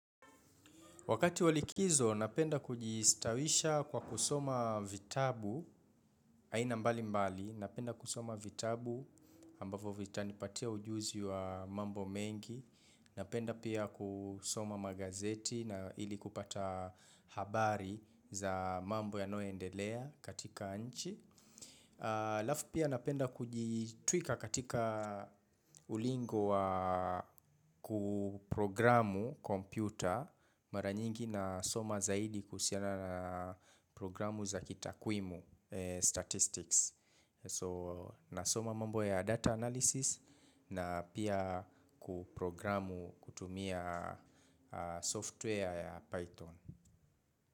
Wakati wa likizo napenda kujistawisha kwa kusoma vitabu, aina mbali mbali, napenda kusoma vitabu ambavo vitanipatia ujuzi wa mambo mengi, napenda pia kusoma magazeti na ili kupata habari za mambo yanayoendelea katika nchi. Halafu pia napenda kujitwika katika ulingo wa kuprogramu kompyuta mara nyingi na soma zaidi kuhusiana na programu za kitakwimu, statistics. So nasoma mambo ya data analysis na pia kuprogramu kutumia software ya Python.